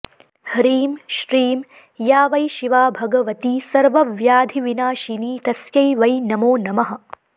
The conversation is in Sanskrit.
ह्रीं श्रीं या वै शिवा भगवती सर्वव्याधिविनाशिनी तस्यै वै नमो नमः